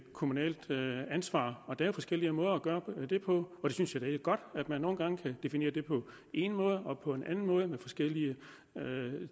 kommunalt ansvar og der er forskellige måder at gøre det på og jeg synes at det er godt at man nogle gange kan definere det på en måde og på en anden måde med forskellige